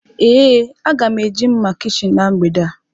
Ee, a ga m eji mma kichin na mgbede a.